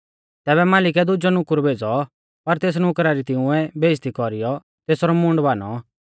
तैबै मालिकै दुजौ नुकुर भेज़ौ पर तेस नुकरा री तिंउऐ बेइज़्ज़ती कौरीयौ तेसरौ मूंड भानौ